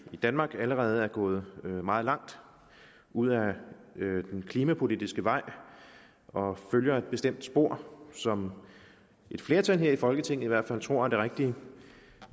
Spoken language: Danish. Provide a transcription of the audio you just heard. i danmark allerede er gået meget langt ud ad den klimapolitiske vej og følger et bestemt spor som et flertal her i folketinget i hvert fald tror er det rigtige